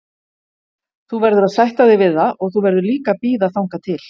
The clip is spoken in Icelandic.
Þú verður að sætta þig við það og þú verður líka að bíða þangað til.